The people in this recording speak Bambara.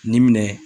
Ni minɛ